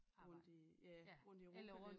Rundt i ja rundt i Europa lidt